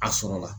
A sɔrɔ la